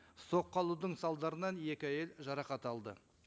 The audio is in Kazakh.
соққы алудың салдарынан екі әйел жарақат алды